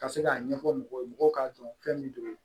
Ka se k'a ɲɛfɔ mɔgɔw ye mɔgɔw k'a dɔn fɛn min don